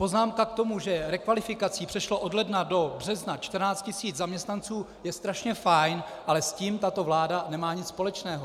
Poznámka k tomu, že rekvalifikací prošlo od ledna do března 14 tis. zaměstnanců, je strašně fajn, ale s tím tato vláda nemá nic společného.